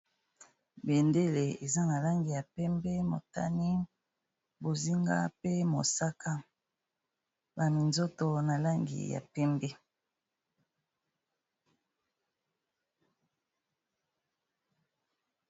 Bendele eza na langi ya pembe, motani, bozinga, pe mosaka, ba minzoto na langi ya pembe.